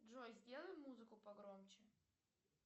джой сделай музыку погромче